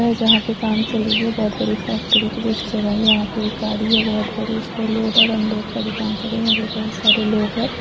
हैं जहाँ पे काम चल रही हैं बहुत बड़ी फैक्ट्री की जैसे जगह हैं यहाँ पे एक गाड़ी हैं बहुत बड़ी उसको लोड और अनलोड कर का भी काम चल रहा है यहाँ पर बहुत सारे लोग हैं।